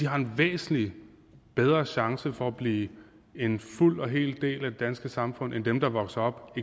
har en væsentlig bedre chance for at blive en fuld og hel del af det danske samfund end dem der vokser op